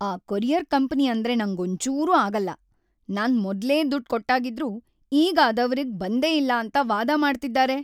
ಆ courier company ಅಂದ್ರೆ ನಂಗೊಂಚೂರೂ ಆಗಲ್ಲ. ನಾನ್‌ ಮೊದ್ಲೇ ದುಡ್ಡ್‌ ಕೊಟ್ಟಾಗಿದ್ರೂ ಈಗ ಅದವ್ರಿಗ್‌ ಬಂದೇ ಇಲ್ಲ ಅಂತ ವಾದ ಮಾಡ್ತಿದಾರೆ!